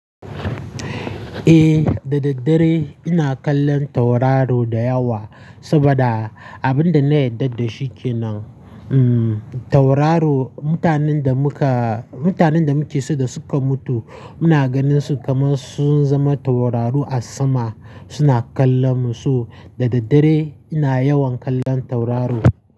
Eh, da daddare ina kallon tauraro da yawa saboda abin da na yarda da shi ke nan. Um, tauraro, mutanen da muka, mutanen da muke so da suka mutu muna ganin su kamar sun zama tauraro a sama suna kallon mu, so da daddare ina yawan kallon tauraro.